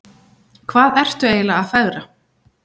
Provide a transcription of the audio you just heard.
Hvað ertu eiginlega að fegra?